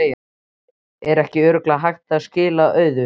Er ekki örugglega hægt að skila auðu?